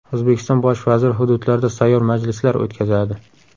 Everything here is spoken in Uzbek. O‘zbekiston Bosh vaziri hududlarda sayyor majlislar o‘tkazadi.